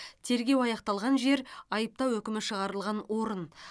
тергеу аяқталған жер айыптау үкімі шығарылған орын